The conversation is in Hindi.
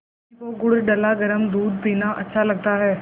रजनी को गुड़ डला गरम दूध पीना अच्छा लगता है